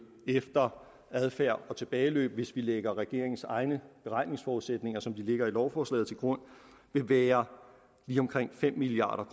efter adfærd og tilbageløb vil hvis vi lægger regeringens egne beregningsforudsætninger som de ligger i lovforslaget til grund være lige omkring fem milliard